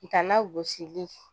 Ka na gosili